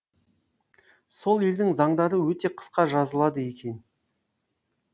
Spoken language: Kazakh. сол елдің заңдары өте қысқа жазылады екен